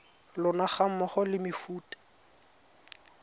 lona ga mmogo le mefuta